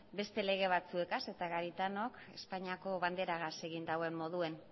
beste lege batzuekaz eta garitanok espainiako banderagaz egin duen moduan